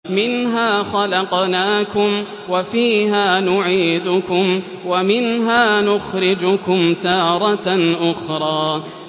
۞ مِنْهَا خَلَقْنَاكُمْ وَفِيهَا نُعِيدُكُمْ وَمِنْهَا نُخْرِجُكُمْ تَارَةً أُخْرَىٰ